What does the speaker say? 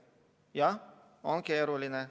Jah, on keeruline.